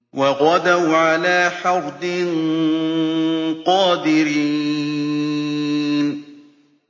وَغَدَوْا عَلَىٰ حَرْدٍ قَادِرِينَ